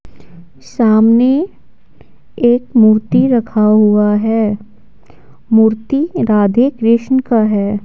सामने एक मूर्ति रखा हुआ है मूर्ति राधे-कृष्ण का है।